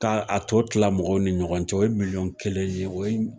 K'a to tila mɔgɔw ni ɲɔgɔn cɛ o ye milɲɔn kelen de ye o ye